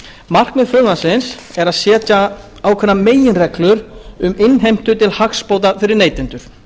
markmið frumvarpsins er að setja ákveðnar meginreglur um innheimtu til hagsbóta fyrir neytendur